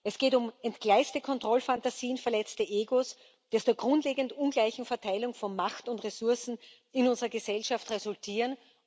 Es geht um entgleiste Kontrollfantasien, verletzte Egos, die aus der grundlegend ungleichen Verteilung von Macht und Ressourcen in unserer Gesellschaft resultieren.